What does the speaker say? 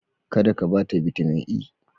Kada ka bata Bitamin E.